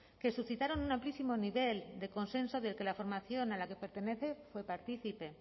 que suscitaron un amplísimo nivel de consenso del que la formación a la que pertenece fue partícipe